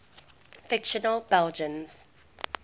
fictional belgians